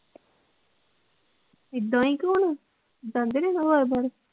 ਇਹਦਾ ਹੀ ਕੋਣ ਨੇ ਦੱਸਦੇ ਨਹੀਂ ਸੁਭਾਵ ਬਾਰੇ।